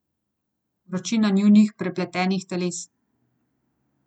Vročina njunih prepletenih teles.